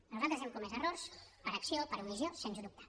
nosaltres hem comès errors per acció per omissió sens dubte